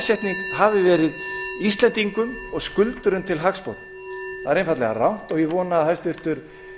þessi lagasetning hafi verið skuldurum og íslendingum til hagsbóta það er einfaldlega rangt og ég vona að hæstvirtur